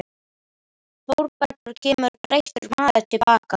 Þórbergur kemur breyttur maður til baka.